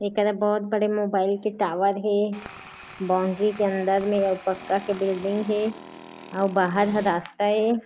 एकरा बहुत बड़े मोबाइल के टॉवर हे बॉउंड्री के अंदर मे अउ पक्का के बिल्डिंग हे अउ बाहर ह रास्ता ए।